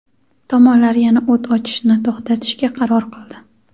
tomonlar yana o‘t ochishni to‘xtatishga qaror qildi.